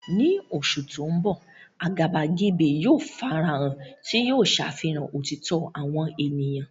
Ní oṣù tó ń bọ̀, àgàbàgebè yóò farahàn, tí yóò ṣàfihàn òtítọ́ àwọn ènìyàn.